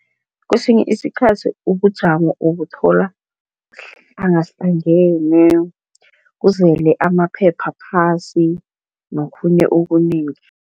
Kwesinye isikhathi ubujamo ubuthola buhlangahlangene kuzele amaphepha phasi nokhunye okunengi.